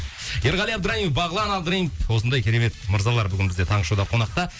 ерғали абдраимов бағлан абдраимов осындай керемет мырзалар бүгін бізде таңғы шоуда қонақта